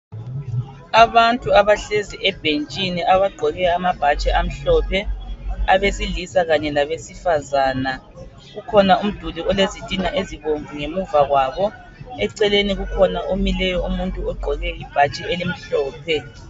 Abantu abahlezi ebhentshini abagqoke amabhatshi amhlophe abesilisa kanye labesifazana kukhona umduli olezitina ezibomvu ngemuva kwabo eceleni kukhona omileyo umuntu ogqoke ibhatshi elimhlophe.